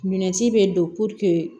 Minɛnsi bɛ don